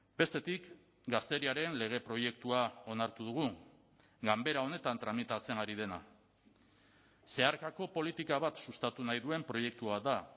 bestetik gazteriaren lege proiektua onartu dugu ganbera honetan tramitatzen ari dena zeharkako politika bat sustatu nahi duen proiektua da